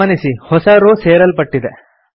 ಗಮನಿಸಿ ಹೊಸ ರೋ ಸೇರಲ್ಪಟ್ಟಿದೆ